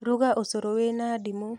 ruga ũcũrũ wĩna ndimũ.